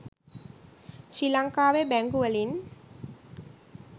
ශ්‍රී ලංකාවේ බැංකුවලින්